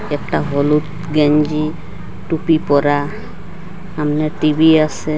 একটা হলুদ গেঞ্জি টুপি পরা সামনে টি_ভি আসে।